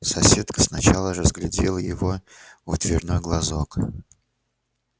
соседка сначала разглядела его в дверной глазок